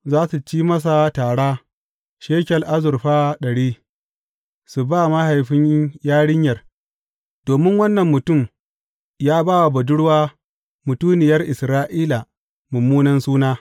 Za su ci masa tara shekel azurfa ɗari, su ba mahaifin yarinyar, domin wannan mutum ya ba wa budurwa mutuniyar Isra’ila mummunan suna.